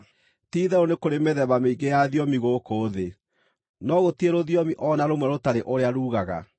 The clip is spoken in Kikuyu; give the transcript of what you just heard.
Ti-itherũ nĩ kũrĩ mĩthemba mĩingĩ ya thiomi gũkũ thĩ, no gũtirĩ rũthiomi o na rũmwe rũtarĩ ũrĩa ruugaga.